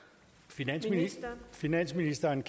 finansministeren finansministeren